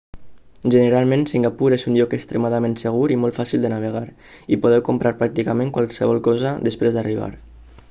generalment singapur és un lloc extremadament segur i molt fàcil de navegar i podeu comprar pràcticament qualsevol cosa després d'arribar